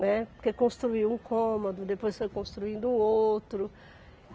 Né, porque construiu um cômodo, depois foi construindo outro.